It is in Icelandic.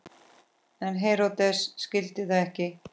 En Heródes skildi það ekki.